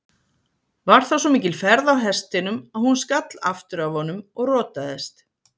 Var þá svo mikil ferð á hestinum að hún skall aftur af honum og rotaðist.